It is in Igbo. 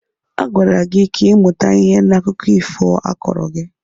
Agwara gị ka ị mụta ihe n'akụkọ ifo a kọọrọ gị!